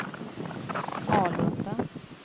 Alunda